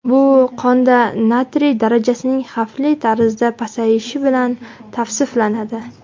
Bu qonda natriy darajasining xavfli tarzda pasayishi bilan tavsiflanadi.